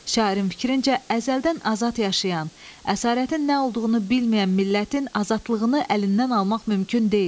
Şairin fikrincə əzəldən azad yaşayan, əsarətin nə olduğunu bilməyən millətin azadlığını əlindən almaq mümkün deyil.